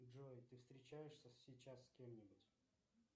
джой ты встречаешься сейчас с кем нибудь